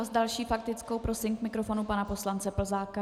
A s další faktickou prosím k mikrofonu pana poslance Plzáka.